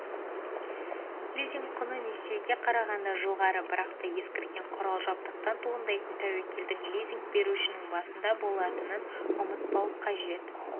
лизинг құны несиеге қарағанда жоғары бірақ та ескірген құрал-жабдықтан туындайтын тәуекелдің лизинг берушінің басында болатынын ұмытпау қажет